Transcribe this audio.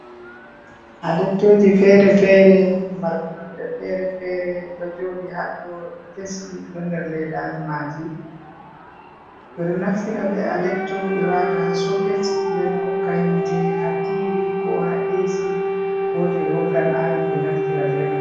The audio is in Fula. Adeptooji feere-feere, marɗi nonnde feere-feere ɗo jooɗi haɗɗo, ɗi kesi ɗi ɗo nder leedaaji maaji. Ɓe ɗo naftira bee adepto ɓe waata ha soket nden hokka hiite ha tiivi koo ha Eesi koo to ɓe woggan aayon ɓe naftira bee may.